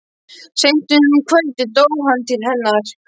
Seint um kvöldið dó hann til hennar.